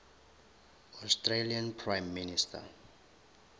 australian prime minister